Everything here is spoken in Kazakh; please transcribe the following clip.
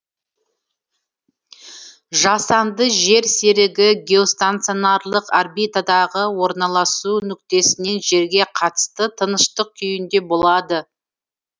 жасанды жер серігі геостационарлық орбитадағы орналасу нүктесінен жерге қатысты тыныштық күйінде болады